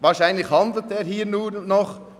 Wahrscheinlich handelt er hier nur noch.